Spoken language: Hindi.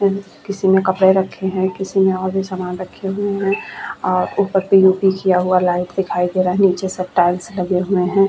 यहाँ पर हम सब देख पा रहे है एक बहोत बड़ा सा मॉल है उसमे ढेर सरे कपड़े और उसमे ढेर सरे आदमी --